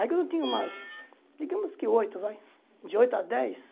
Aí quando eu tinha umas, digamos que oito vai, de oito a dez,